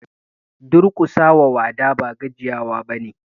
Duƙusa wa wada ba gajiya wa ba ne.